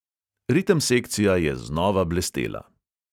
Ritem sekcija je znova blestela.